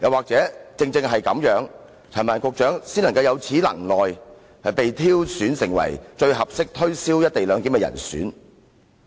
還是正因陳帆局長有此能耐，他才被挑選為最合適推銷"一地兩檢"的人呢？